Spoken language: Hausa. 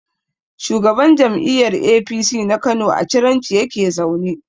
Shugaban jam'iyyar APC na Kano a Ciranci yake zaune.